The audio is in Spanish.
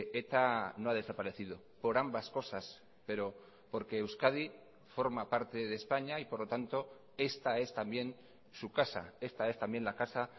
eta no ha desaparecido por ambas cosas pero porque euskadi forma parte de españa y por lo tanto esta es también su casa esta es también la casa